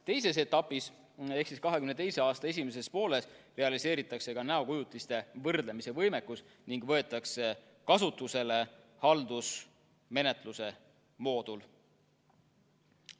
Teises etapis ehk 2022. aasta esimeses pooles realiseeritakse ka näokujutiste võrdlemise võimekus ning võetakse kasutusele haldusmenetluse moodul.